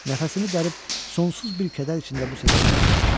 Nəfəsimi dərib sonsuz bir kədər içində bu səsə qulaq asdım.